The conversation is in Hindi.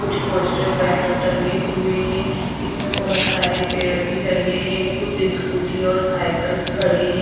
कुछ पोस्टर बैनर टंगे हुए हैं इसमें बहोत सारे पेड़ भी लगे हैं कुछ स्कूटी और साइकल्स खड़ी हैं।